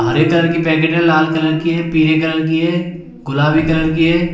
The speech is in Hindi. हरे कलर की पैकेट है लाल कलर की है पीले कलर की है गुलाबी कलर की है।